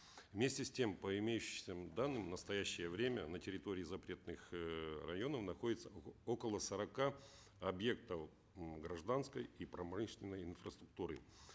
вместе с тем по имеющимся данным в настоящее время на территории запретных эээ районов находится около сорока объектов гражданской и промышленной инфраструктуры